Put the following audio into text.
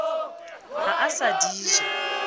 ha a sa di ja